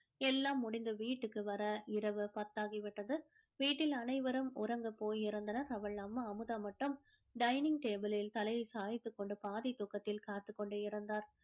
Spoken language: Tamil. எல்லாம் முடிந்து வீட்டுக்கு வர இரவு பத்தாகி விட்டது வீட்டில் அனைவரும் உறங்க போயிருந்தனர் அவள் அம்மா அமுதா மட்டும் dining table லில் தலையை சாய்த்து கொண்டு பாதி தூக்கதில் காத்துக் கொண்டு இருந்தார்